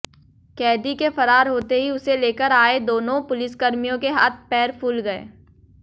कैदी के फरार होते ही उसे लेकर आये दोनों पुलिसकर्मियों के हाथ पैर फूल गए